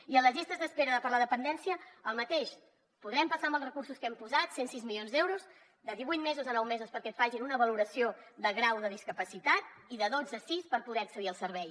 i a les llistes d’espera de la dependència el mateix podrem passar amb els recursos que hi hem posat cent i sis milions d’euros de divuit mesos a nou mesos perquè et facin una valoració de grau de discapacitat i de dotze a sis per poder accedir al servei